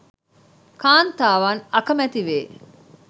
කාන්තාවන් අකැමැති වේ.